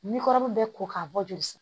Ni kɔrɔmu bɛ ko k'a bɔ joli san